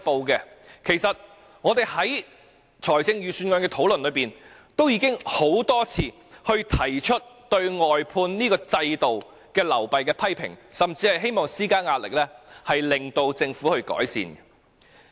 事實上，我們在預算案討論中已多次提出對外判制度流弊的批評，甚至希望施加壓力，令政府有所改善。